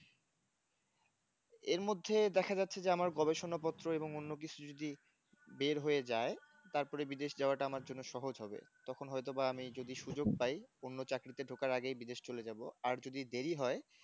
এরমধ্যে দেখা যাচ্ছে যে আমার গবেষণা পত্র এবং অন্য কিছু যদি বের হয়ে যায় তারপরে বিদেশ যাওয়াটা আমার জন্য সহজ হবে তখন হয়তো বা আমি, যদি সুযোগ পাই অন্য চাকরিতে ঢোকার আগে বিদেশ চলে যাব। আর যদি দেরি হয়